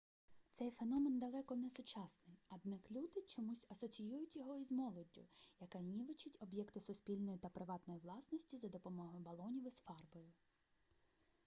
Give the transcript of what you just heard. цей феномен далеко не сучасний однак люди чомусь асоціюють його із молоддю яка нівечить об'єкти суспільної та приватної власності за допомогою балонів із фарбою